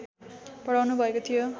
पढाउनु भएको थियो